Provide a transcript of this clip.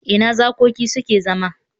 Ina zakoki suke zama?